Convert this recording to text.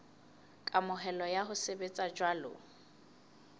kamohelo ya ho sebetsa jwalo